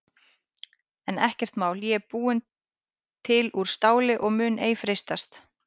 En ekkert mál ég er búin til úr STÁLI og mun ei freistast.